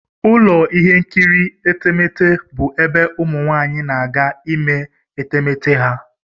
Ụlọ ihe nkiri etemeete bụ ebe ụmụ nwaanyị na-aga ime etemeete ha.